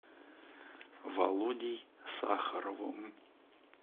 володей сахаровым